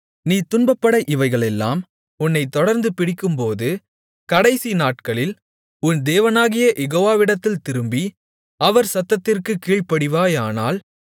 நீ துன்பப்பட இவைகளெல்லாம் உன்னைத் தொடர்ந்து பிடிக்கும்போது கடைசி நாட்களில் உன் தேவனாகிய யெகோவாவிடத்தில் திரும்பி அவர் சத்தத்திற்குக் கீழ்ப்படிவாயானால்